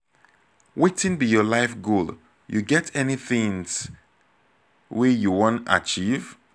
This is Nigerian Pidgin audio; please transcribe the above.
wetin be your life goal you get any tings wey you wan achieve?